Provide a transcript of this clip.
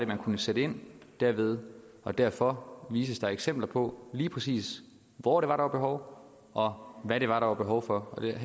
man kunne sætte ind derved og derfor vises der eksempler på lige præcis hvor der er behov og hvad der er behov for her